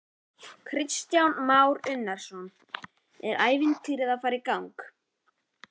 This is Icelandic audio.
Kristján Már Unnarsson: Er ævintýrið að fara í gang?